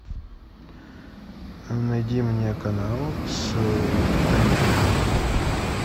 найди мне канал с комедиями